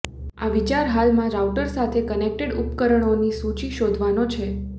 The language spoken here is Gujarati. આ વિચાર હાલમાં રાઉટર સાથે કનેક્ટેડ ઉપકરણોની સૂચિ શોધવાનો છે